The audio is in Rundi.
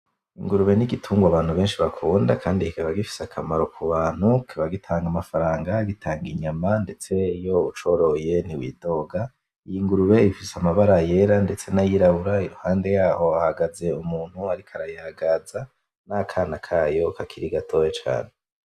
Ingurube n’igitungwa abantu benshi bakunda Kandi kikaba gifise akamaro ku bantu, kikaba gitanga amafaranga, gitanga inyama ndetse iyo ucoroye ntiwidoga. Iyi ngurube ifise amabara yera ndetse n’ayirabura, iruhande yaho hahagaze umuntu ariko arayagaza, n’akana kayo kakiri gatoya cane.